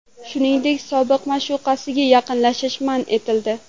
Shuningdek, sobiq ma’shuqasiga yaqinlashish man etildi.